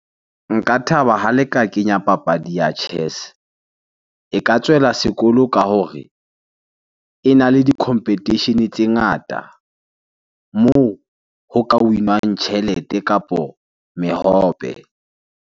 Nka thaba ha le ka kenya papadi ya chess. E ka tswela sekolo ka hore ena le di-competition-e tse ngata moo ho ka win-wang tjhelete kapo mehope.